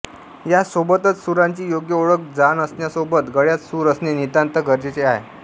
यासोबतच सुरांची योग्य ओळख जाण असण्यासोबत गळ्यात सूर असणे नितांत गरजेचे आहे